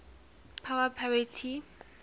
power parity ppp